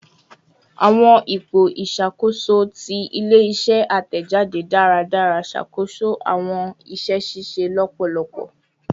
Awọn ipo iṣakoso ti ile-iṣẹ atẹjade daradara ṣakoso awọn iṣẹ ṣiṣe lọpọlọpọ